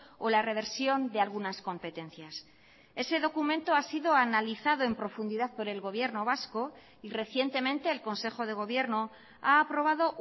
o la reversión de algunas competencias ese documento ha sido analizado en profundidad por el gobierno vasco y recientemente el consejo de gobierno ha aprobado